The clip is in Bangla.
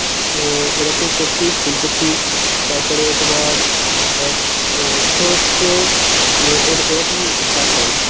অ্যাঁ এরকম কপি ফুলকপি তারপরে তোমার অ্যাঁ সর্ষে এর~ এরকম চাষ হয়.